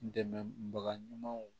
Dɛmɛbaga ɲumanw